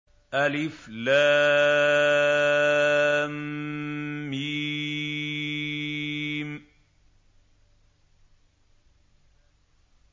الم